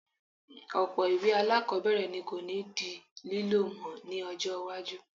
Ọ̀pọ̀ ìwé alákọ̀ọ́bẹ̀rẹ̀ ni kò ní di lílò mi ní ọjọ́ iwájú